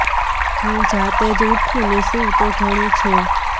હું જાતે જ ઉઠું ને સૂવું તો ઘણું છે